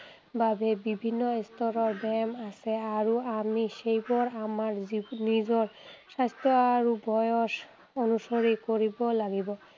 বাবে বিভিন্ন স্তৰৰ ব্যায়াম আছে আৰু আমি সেইবোৰ আমাৰ নিজৰ স্বাস্থ্য আৰু বয়স অনুসৰি কৰিব লাগিব।